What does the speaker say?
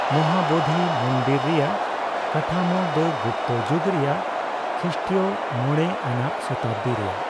ᱢᱚᱦᱟᱵᱚᱫᱷᱤ ᱢᱚᱱᱫᱤᱞ ᱨᱮᱭᱟᱜ ᱠᱟᱴᱷᱟᱢᱳ ᱫᱚ ᱜᱩᱯᱛᱚ ᱡᱩᱜᱽ ᱨᱮᱭᱟᱜ, ᱠᱷᱤᱥᱴᱤᱭᱚ ᱢᱚᱲᱮ ᱟᱱᱟᱜ ᱥᱚᱛᱟᱵᱫᱤ ᱨᱮᱭᱟᱜ ᱾